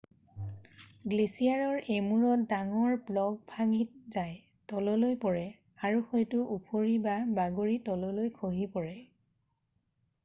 গ্লেচিয়াৰৰ এমূৰত ডাঙৰ ব্লক ভাগি যায় তললৈ পৰে আৰু হয়তো ওফৰি বা বাগৰি তললৈ খহি পৰে